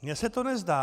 Mně se to nezdá.